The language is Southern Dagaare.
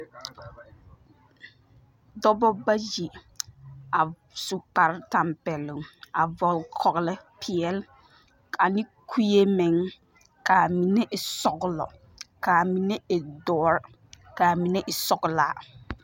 Dͻbͻ bayi a su kpare tampԑloŋ a vͻgele kͻgele peԑle ane kue meŋ ka a mine e sͻgelͻ, ka a mine e dõͻre, ka a mine e sͻgelaa.